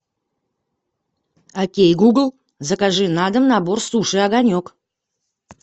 окей гугл закажи на дом набор суши огонек